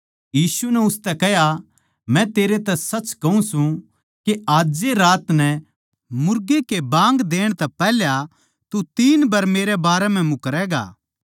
यीशु नै उसतै कह्या मै तेरै तै सच कहूँ सूं के आज ए रात नै मुर्गे के बाँग देण तै पैहल्या तू तीन बर मेरै बारे म्ह मुकरैगा